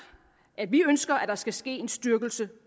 at vi ønsker der skal ske en styrkelse